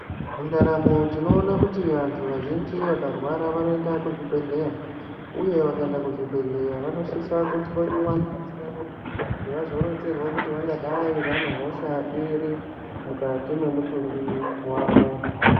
Muntaramo tinoona kuti vantu vazhinji vakarwara vanoenda kuzvibhledhlera uye vakaenda kuzvibhedhlera vanosise kuhloyiwa ngazi yavo kuti vazoronzerwa kuti vangadayi vane hosha iri mukati mwemutumbi wawo.